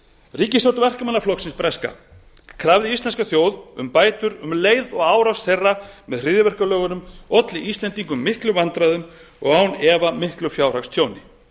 ríkisstjórn verkamannaflokksins breska krafði íslenska þjóð um bætur um leið og árás þeirra með hryðjuverkalögunum olli íslendingum miklum vandræðum og án efa miklu fjárhagstjóni